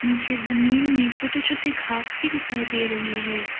नीचे जमीन में छोटे छोटे घास भी दिखाई दे रही है।